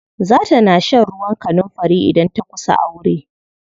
Za ta na shan ruwan kanunfari idan ta kusa aure.